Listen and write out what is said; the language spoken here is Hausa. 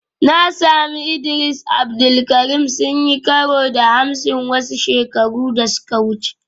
Na sami Idris Abdul Karim sun yi karo da Hamsin wasu shekaru da suka wuce